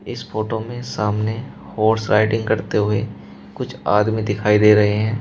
इस फोटो मे सामने हॉर्स राइडिंग करते हुए कुछ आदमी दिखाई दे रहे हैं।